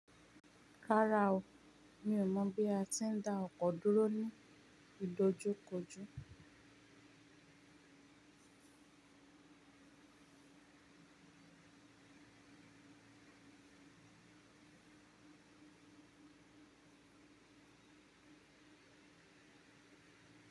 Rárá o, mi ò mọ̀ bí a ti ń da ọkọ̀ dúró ní ìdojúkọjú.